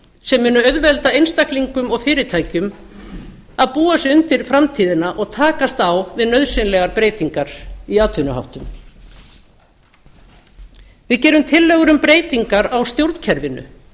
sem munu auðvelda einstaklingum og fyrirtækjum að búa sig undir framtíðina og takast á við nauðsynlegar breytingar á atvinnuháttum við gerum tillögur um breytingar á stjórnkerfinu